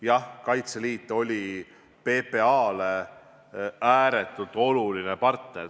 Jah, Kaitseliit oli PPA-le ääretult oluline partner.